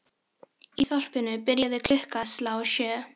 Í þorpinu byrjaði klukka að slá sjö.